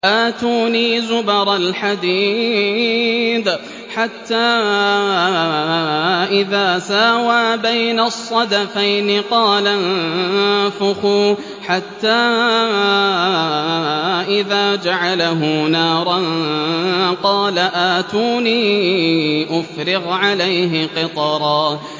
آتُونِي زُبَرَ الْحَدِيدِ ۖ حَتَّىٰ إِذَا سَاوَىٰ بَيْنَ الصَّدَفَيْنِ قَالَ انفُخُوا ۖ حَتَّىٰ إِذَا جَعَلَهُ نَارًا قَالَ آتُونِي أُفْرِغْ عَلَيْهِ قِطْرًا